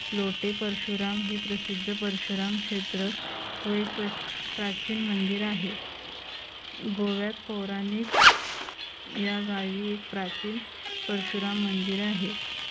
लोटे परशुराम हे प्रसिद्ध परशुराम क्षेत्र होय प्राचीन मंदिर आहे गोव्यात पौराणिक या गावी एक प्राचीन परशुराम मंदिर आहे.